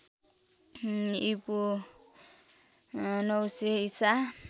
ईपू ९०० ईसा